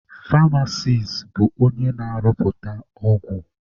Famasis bụ onye na-arụpụta ọgwụ.